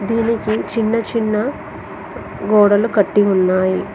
దీనికి చిన్న చిన్న గోడలు కట్టి ఉన్నాయి.